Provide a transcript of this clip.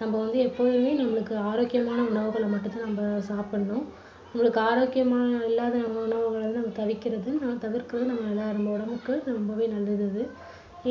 நம்ம வந்து எப்பொழுதுமே நம்மளுக்கு ஆரோக்கியமான உணவுகளை மட்டும் தான் நம்ப சாப்பிடணும். உங்களுக்கு ஆரோக்கியமா இல்லாத உணவுகளை வந்து தவிர்க்கறது நம்ம எல்லார் உடம்புக்கு ரொம்பவே நல்லது அது.